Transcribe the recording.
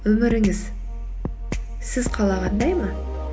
өміріңіз сіз қалағандай ма